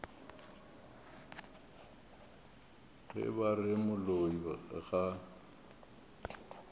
ge ba re moloi ga